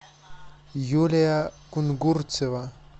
юлия кунгурцева